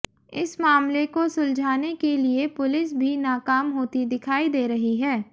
इस मामले को सुलझाने के लिए पुलिस भी नाकाम होती दिखाई दे रही है